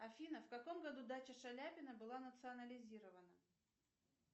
афина в каком году дача шаляпина была национализирована